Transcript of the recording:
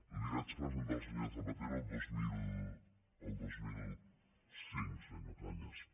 l’hi vaig presentar al senyor zapatero el dos mil cinc senyor cañas